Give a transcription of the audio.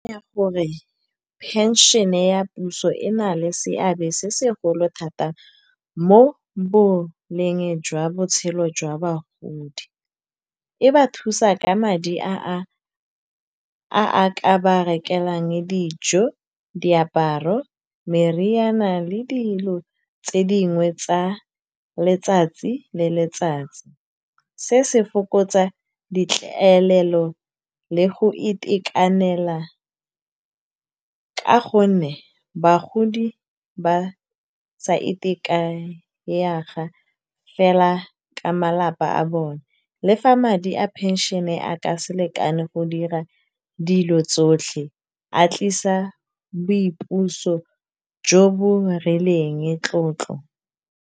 Ya gore phenšhene ya puso e na le seabe se segolo thata mo boleng jwa botshelo jwa bagodi. E ba thusa ka madi a a ka ba rekeleng dijo, diaparo, meriana le dilo tse dingwe tsa letsatsi le letsatsi. Se se fokotsa ditlaelelo le go itekanela, ka gonne bagodi ba sa ka malapa a bone. Le fa madi a pension-e a ka se lekane go dira dilo tsotlhe, a tlisa boipuso jo bo rileng tlotlo.